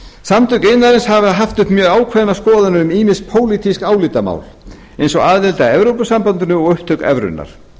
samtök iðnaðarins hafa haft uppi mjög ákveðnar skoðanir um ýmis pólitísk álitamál eins og aðild að evrópusambandinu og upptöku evrunnar